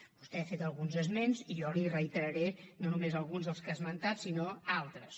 vostè n’ha fet alguns esments i jo li reiteraré no només alguns dels que ha esmentat sinó altres